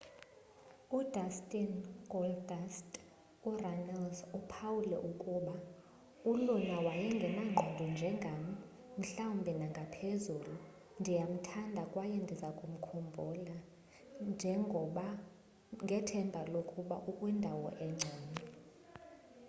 udustin goldust urunnels uphawule ukuba uluna wayengenangqondo njengam ... mhlawumbi nangaphezulu ... ndiyamthanda kwaye ndizakumkhumbula ... ngethemba lokuba ukwindawo engcono.